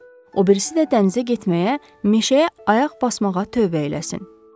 O birisi də dənizə getməyə, meşəyə ayaq basmağa tövbə eləsin.